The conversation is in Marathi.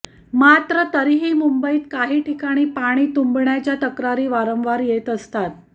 मात्र तरीही मुंबईत काही ठिकाणी पाणी तुंबण्याच्या तक्रारी वारंवार येत असतात